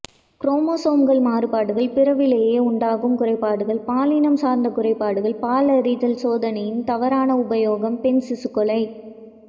குரோமோசோம்கள் மாறுபாடுகள் பிறவிலேயே உண்டாகும் குறைபாடுகள் பாலினம் சார்ந்த குறைபாடுகள் பாலறிதல் சோதனையின் தவறான உபயோகம் பெண் சிசுக்கொலை